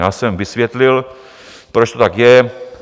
Já jsem vysvětlil, proč to tak je.